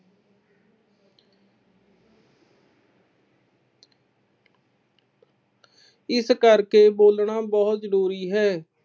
ਇਸ ਕਰਕੇ ਬੋਲਣਾ ਬਹੁਤ ਜ਼ਰੂਰੀ ਹੈ।